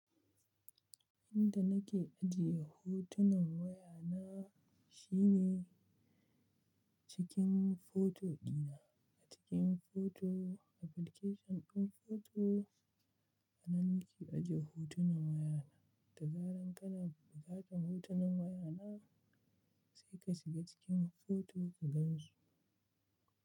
Inda nake ajiye hotunan waya na shine cikin foto dina, a cikin foto application ɗin foto. Ana nake ajiye hotunan waya na da zaran kana buƙatar hotunan waya na sai ka shiga cikin foto ka gan su.